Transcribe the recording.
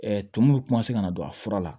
tumu bɛ ka na don a fura la